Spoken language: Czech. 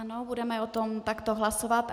Ano, budeme o tom takto hlasovat.